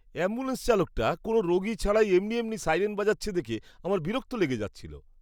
Ambulance চালকটা কোনও রোগী ছাড়াই এমনি এমনি সাইরেন বাজাচ্ছে দেখে আমার বিরক্ত লেগে যাচ্ছিল।